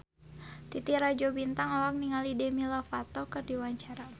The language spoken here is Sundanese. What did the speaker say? Titi Rajo Bintang olohok ningali Demi Lovato keur diwawancara